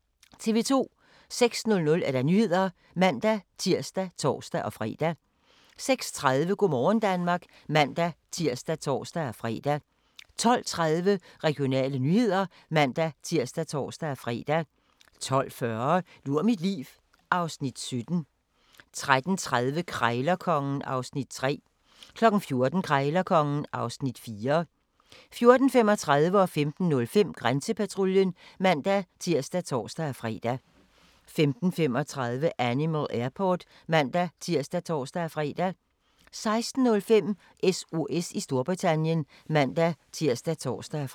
06:00: Nyhederne (man-tir og tor-fre) 06:30: Go' morgen Danmark (man-tir og tor-fre) 12:30: Regionale nyheder (man-tir og tor-fre) 12:40: Lur mit liv (Afs. 17) 13:30: Krejlerkongen (Afs. 3) 14:00: Krejlerkongen (Afs. 4) 14:35: Grænsepatruljen (man-tir og tor-fre) 15:05: Grænsepatruljen (man-tir og tor-fre) 15:35: Animal Airport (man-tir og tor-fre) 16:05: SOS i Storbritannien (man-tir og tor-fre)